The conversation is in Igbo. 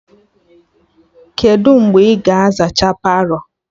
Kedụ mgbe ị ga-aza ha Palọ?